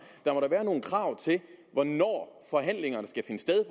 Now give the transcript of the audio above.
der må da være nogle krav til hvornår forhandlingerne skal finde sted